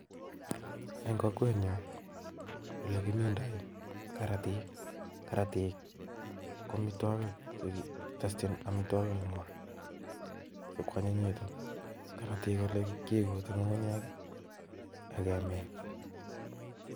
En kokwenyun olekimindoi karatik, karatik ko amitwogiik chekitesyiin amitwogik kwonyinyikitun, kaaratik kiyumchin ngungunyek ak kemin